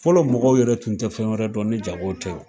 Fɔlɔ mɔgɔw yɛrɛ tun tɛ fɛn wɛrɛ dɔn ni jago tɛ o.